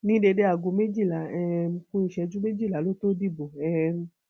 ní déédé aago méjìlá um ku ìṣẹjú méjìlá ló tóó dìbò um